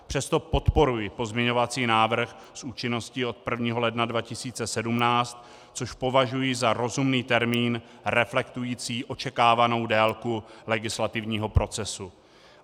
Přesto podporuji pozměňovací návrh s účinností od 1. ledna 2017, což považuji za rozumný termín reflektující očekávanou délku legislativního procesu.